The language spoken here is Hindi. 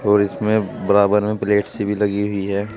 और इसमें बराबर में प्लेट सी भी लगी हुई है।